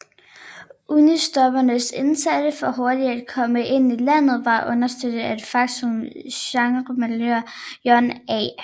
Unionstroppernes indsats for hurtigt at komme ind i landet var understøttet af det faktum at generalmajor John A